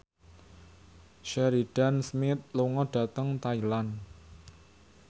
Sheridan Smith lunga dhateng Thailand